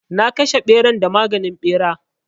Na kashe ɓeran da maganin ɓera.